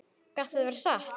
Gat þetta verið satt?